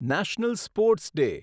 national sports day